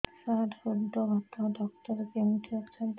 ସାର ହୃଦଘାତ ଡକ୍ଟର କେଉଁଠି ଅଛନ୍ତି